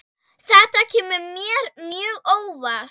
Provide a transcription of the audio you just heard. Þetta kemur mér mjög óvart.